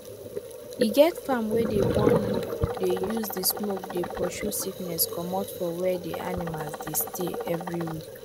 e get farm wey dey burn leave dey use the smoke dey pursue sickness comot for where the animals dey stay every week